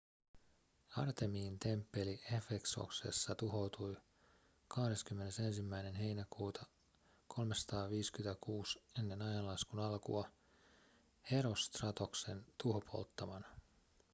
artemiin temppeli efesoksessa tuhoutui 21 heinäkuuta 356 eaa herostratoksen tuhopolttamana